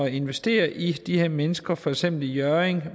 investere i de her mennesker for eksempel i hjørring